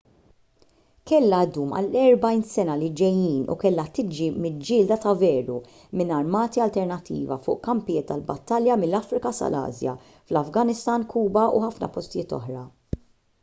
kellha ddum għall-40 sena li ġejjin u kellha tiġi miġġielda ta' veru minn armati alternattivi fuq kampijiet tal-battalja mill-afrika sal-asja fl-afganistan kuba u ħafna postijiet oħra